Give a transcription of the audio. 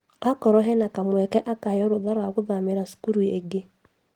Akorwo hena kamweke akaheo rũtha rwa gũthamĩra cukuru ĩngĩ